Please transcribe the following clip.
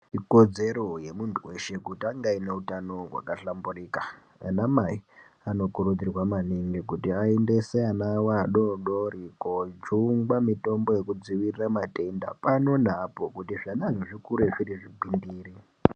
Ikodzero yemuntu weshe kuti ange aine hutano hwakahlamburika. Anamai anokurudzirwa maningi kuti aendese ana avo adoodori koojungwa mitombo yekudzivirira matenda pano neapo kuti zvanazvo zvikure zviri zvigwindiri.